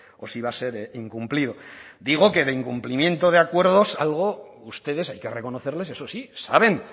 o si va a ser incumplido digo que de incumplimiento de acuerdos algo ustedes hay que reconocerles eso sí saben